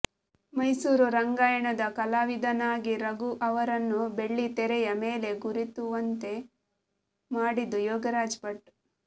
ಮೈಸೂರು ರಂಗಾಯಣದ ಕಲಾವಿದನಾಗಿ ರಘು ಅವರನ್ನು ಬೆಳ್ಳಿತೆರೆಯ ಮೇಲೆ ಗುರಿತುವಂತೆ ಮಾಡಿದ್ದು ಯೋಗರಾಜ್ ಭಟ್